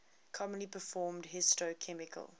commonly performed histochemical